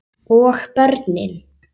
Og börnin?